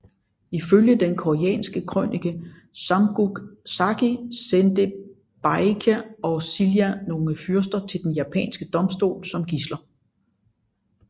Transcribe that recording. Ifølge den koreanske krønike Samguk Sagi sendte Baekje og Silla nogle fyrster til den japanske domstol som gidsler